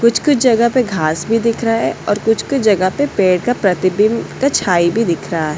कुछ-कुछ जगह पे घास भी दिख रहा हैऔर कुछ-कुछ जगह पर पेड़ का प्रतिबिंब का छाई भी दिख रहा है।